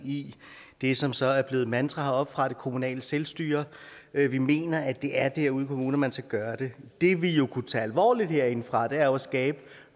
i det som så er blevet et mantra heroppefra det kommunale selvstyre vi vi mener at det er derude i kommunerne man skal gøre det det vi kunne tage alvorligt herindefra er at skabe